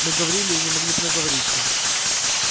мы говорили и не могли б наговориться